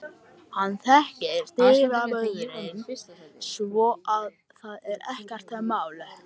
Hann þekkir dyravörðinn svo að það er ekkert mál.